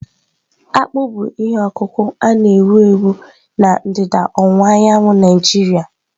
Akpụ bụ ihe ọkụkụ na-ewu ewu na ndịda ọwụwa anyanwụ Naijiria.